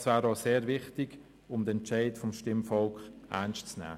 Das wäre auch sehr wichtig, um den Entscheid des Stimmvolks ernst zu nehmen.